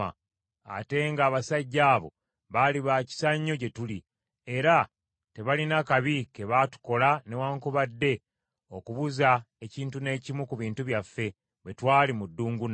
ate nga abasajja abo baali ba kisa nnyo gye tuli, era tebalina kabi ke baatukola newaakubadde okubuza ekintu n’ekimu ku bintu byaffe bwe twali mu ddungu nabo.